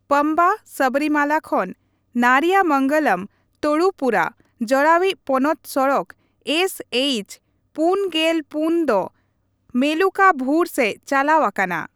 ᱯᱚᱢᱵᱟ (ᱥᱚᱵᱚᱨᱤᱢᱟᱞᱟ) ᱠᱷᱚᱱ ᱱᱟᱨᱤᱭᱟᱢᱚᱝᱜᱚᱞᱚᱢ (ᱛᱳᱰᱩᱯᱩᱡᱷᱟ) ᱡᱚᱲᱟᱣᱤᱡ ᱯᱚᱱᱚᱛ ᱥᱚᱲᱚᱠ ᱮᱥ ᱮᱪᱼ᱔᱔ ᱫᱚ ᱢᱮᱞᱩᱠᱟᱵᱷᱩᱨ ᱥᱮᱡ ᱪᱟᱞᱟᱣ ᱟᱠᱟᱱᱟ ᱾